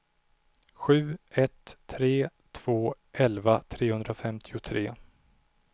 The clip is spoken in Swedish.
sju ett tre två elva trehundrafemtiotre